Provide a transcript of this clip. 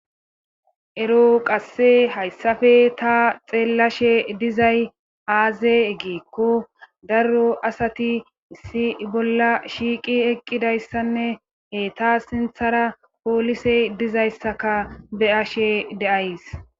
ero qasse hayssafe ta xeellashe dizay aaze gikko darro asati isi bolla shiiqi eqqidayssanne etaa sinthara poolise dizayssaka be'ashe de'ays